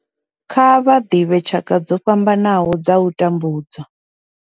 Kha vha ḓivhe tshaka dzo fhambanaho dza u tambudzwa.